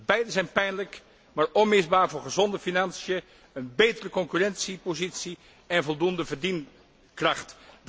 Beide zijn pijnlijk, maar onmisbaar voor gezonde financiën, een betere concurrentiepositie en voldoende verdienkracht.